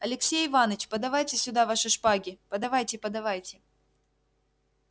алексей иваныч подавайте сюда ваши шпаги подавайте подавайте